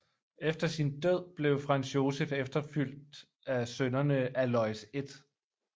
Efter sin død blev Franz Josef efterfulgt af sønnerne Aloys 1